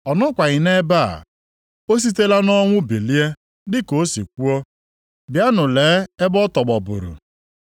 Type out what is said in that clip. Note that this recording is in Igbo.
Ọ nọkwaghị nʼebe a. O sitela nʼọnwụ bilie, dị ka o si kwuo. Bịanụ lee ebe ọ tọgbọburu.